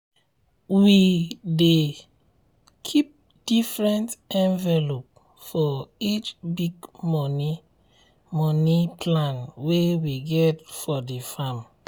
every farming season get season get im own wahala so make you plan your money well.